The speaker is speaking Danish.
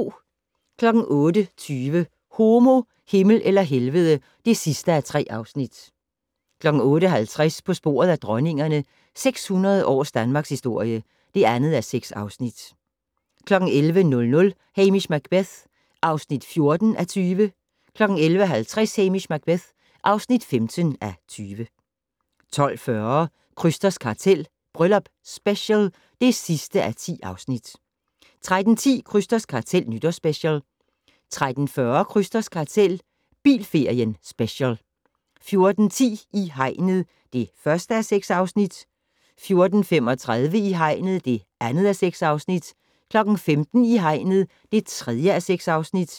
08:20: Homo, Himmel eller Helvede (3:3) 08:50: På sporet af dronningerne - 600 års danmarkshistorie (2:6) 11:00: Hamish Macbeth (14:20) 11:50: Hamish Macbeth (15:20) 12:40: Krysters kartel - Bryllup Special (10:10) 13:10: Krysters kartel - Nytårsspecial 13:40: Krysters kartel - bilferien special 14:10: I hegnet (1:6) 14:35: I hegnet (2:6) 15:00: I hegnet (3:6)